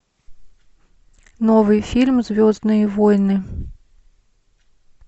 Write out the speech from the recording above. новый фильм звездные войны